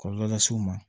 Kɔlɔlɔ las'u ma